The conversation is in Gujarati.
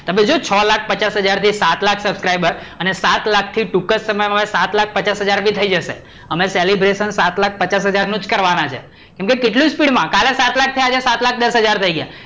તમે જોવો છ લાખ પચાસ હજાર થી સાત લાખ subscriber અને સાત લાખ થી ટૂંક સમય માં સાત લાખ પચાસ હજાર પણ બી થઈ જશે. અમે celebration સાત લાખ પચાસ હજાર નું જ કરવાના છે. કેમ કે કેટલું speed માં, કાલે સાત લાખ થયા, આજે સાત લાખ દસ હાજર થઇ ગયા.